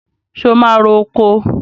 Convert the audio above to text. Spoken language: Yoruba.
So máa ro oko?